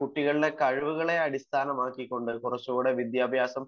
കുട്ടികളുടെ കഴിവുകളെ അടിസ്ഥാനമാക്കികൊണ്ട് കുറച്ചുകൂടി വിദ്യാഭ്യാസം